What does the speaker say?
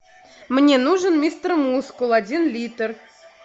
мне нужен мистер мускул один литр